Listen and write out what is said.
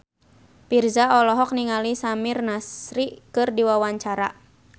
Virzha olohok ningali Samir Nasri keur diwawancara